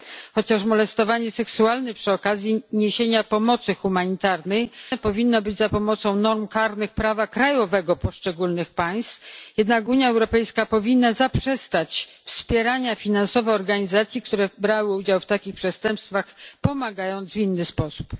Choć molestowanie seksualne przy okazji niesienia pomocy humanitarnej powinno być zwalczane za pomocą norm karnych prawa krajowego poszczególnych państw, Unia Europejska powinna też zaprzestać wspierania finansowego organizacji, które brały udział w takich przestępstwach, pomagając w inny sposób.